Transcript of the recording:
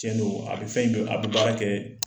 Tiɲɛ don a bɛ fɛn in don a bɛ baara kɛ